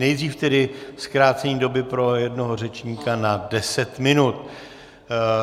Nejdřív tedy zkrácení doby pro jednoho řečníka na deset minut.